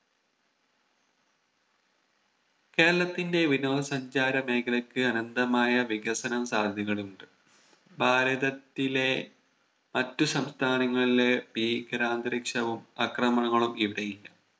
കേരളത്തിന്റെ വിനോദ സഞ്ചാര മേഖലക്ക് അനന്തമായ വികസനം സാധ്യതകളുണ്ട് ഭാരതത്തിലെ മറ്റു സംസ്ഥാനങ്ങളിലെ ഭീകരാന്തരീക്ഷവും അക്രമണങ്ങളും ഇവിടെ ഇല്ല